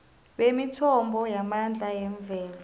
bemithombo yamandla yemvelo